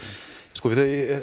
sko